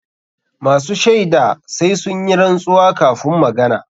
Masu shaida sai sun yi rantsuwa kafun magana.